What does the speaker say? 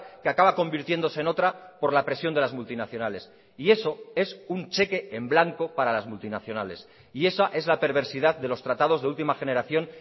que acaba convirtiéndose en otra por la presión de las multinacionales y eso es un cheque en blanco para las multinacionales y esa es la perversidad de los tratados de última generación